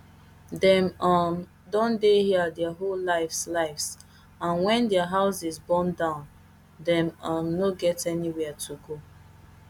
dem um don dey here dia whole lives lives and wen dia houses burn down dem um no get anywia to go